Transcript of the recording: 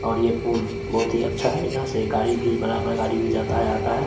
और ये पुल बहुत ही अच्छा है यहां से गाड़ी भी बराबर गाड़ी भी जाता है आता है।